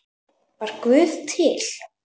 Var Guð til?